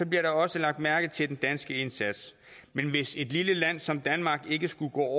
bliver der også lagt mærke til den danske indsats men hvis et lille land som danmark ikke skulle gå